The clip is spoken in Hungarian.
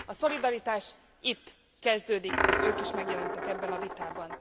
A szolidaritás itt kezdődik, hogy ők is megjelentek ebben a vitában.